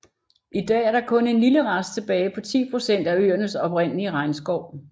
I dag er der kun en lille rest tilbage på 10 procent af øernes oprindelige regnskov